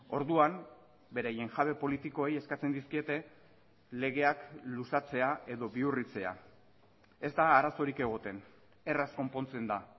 orduan beraien jabe politikoei eskatzen dizkiete legeak luzatzea edo bihurritzea ez da arazorik egoten erraz konpontzen da